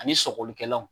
Ani sɔgɔlikɛlaw